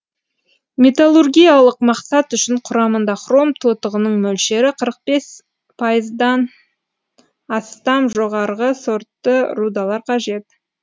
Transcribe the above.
металлургиялық мақсат үшін құрамында хром тотығының мөлшері қырық бес пайыздан астам жоғарғы сортты рудалар қажет